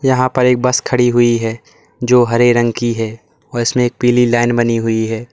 यहां पर एक बस खड़ी हुई है जो हरे रंग की है उसमें एक पीली लाइन बनी हुई है।